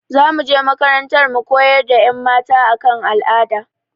Za mu je makarantar mu koyar da ƴan mata a kan al'ada